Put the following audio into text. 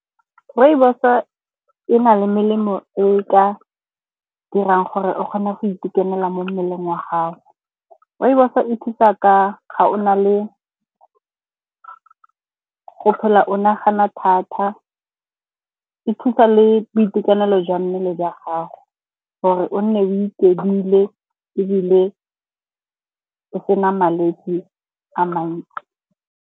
Rooibos e e na le melemo e ka dirang gore o kgone go itekanela mo mmeleng wa gago. Rooibos e thusa ga o na le go phela o nagana thata, e thusa le boitekanelo jwa mmele jwa gago gore o nne o iketlile, ebile e se na malwetse a mantsi.